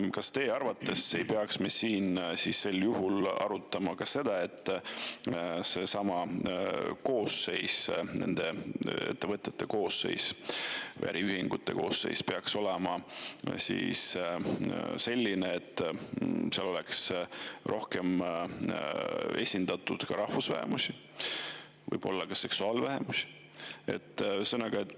Kas me teie arvates ei peaks sel juhul arutama ka seda, et nende ettevõtete või äriühingute koosseis peaks olema selline, et seal oleks rohkem esindatud ka rahvusvähemusi, võib-olla ka seksuaalvähemusi?